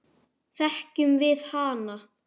Þekkjum við hana?